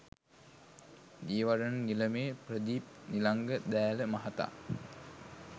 දියවඩන නිලමේ ප්‍රදීප් නිලංග දෑල මහතා